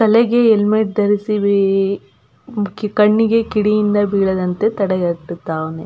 ತಲೆಗೆ ಹೆಲ್ಮೆಟ್ ಧರಿಸಿ ಈ ಕಣ್ಣಿಗೆ ಕಿಡಿಯಿಂದ ಬೀಳದಂತೆ ತಡೆಗಟ್ಟುತ್ತಾನೆ.